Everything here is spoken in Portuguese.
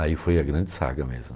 Aí foi a grande saga mesmo.